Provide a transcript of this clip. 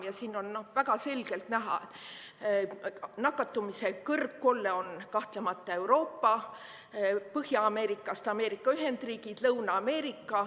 Ja siin on väga selgelt näha, et nakatumise kõrgkolle on kahtlemata Euroopa, Põhja-Ameerikast Ameerika Ühendriigid, Lõuna-Ameerika.